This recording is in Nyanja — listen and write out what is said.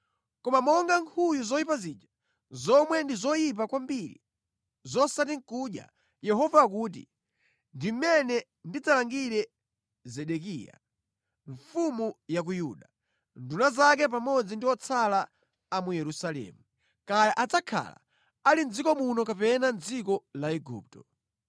“ ‘Koma monga nkhuyu zoyipa zija, zomwe ndi zoyipa kwambiri zosati nʼkudya,’ Yehova akuti, ‘ndi mmene ndidzalangire Zedekiya mfumu ya ku Yuda, nduna zake pamodzi ndi otsala a mu Yerusalemu, kaya adzakhala ali mʼdziko muno kapena mʼdziko la Igupto.